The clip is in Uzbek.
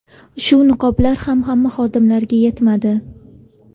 Shu niqoblar ham hamma xodimlarga yetmadi.